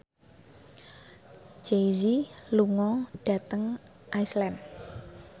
Jay Z lunga dhateng Iceland